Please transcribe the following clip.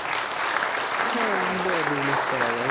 হ্যাঁ দুধের business করা যায়।